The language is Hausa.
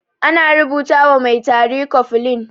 Ana rubuta wa mai tari cofflin.